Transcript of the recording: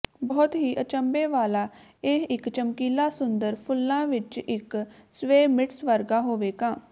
ਬਹੁਤ ਹੀ ਅਚੰਭੇ ਵਾਲਾ ਇਹ ਇੱਕ ਚਮਕੀਲਾ ਸੁੰਦਰ ਫੁੱਲਾਂ ਵਿੱਚ ਇੱਕ ਸਵੈਮਿਟਸ ਵਰਗਾ ਹੋਵੇਗਾ